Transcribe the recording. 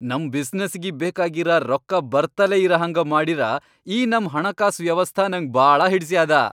ನಮ್ ಬಿಸನಸ್ಸಿಗಿ ಬೇಕಾಗಿರ ರೊಕ್ಕಾ ಬರ್ತಲೇ ಇರಹಂಗ ಮಾಡಿರ ಈ ನಮ್ ಹಣಕಾಸ್ ವ್ಯವಸ್ಥಾ ನಂಗ್ ಭಾಳ ಹಿಡಸ್ಯಾದ.